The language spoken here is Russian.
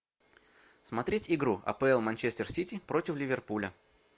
смотреть игру апл манчестер сити против ливерпуля